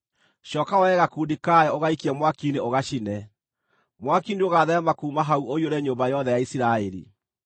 Cooka woe gakundi kayo ũgaikie mwaki-inĩ ũgacine. Mwaki nĩũgatheerema kuuma hau ũiyũre nyũmba yothe ya Isiraeli.